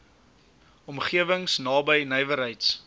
omgewings naby nywerheids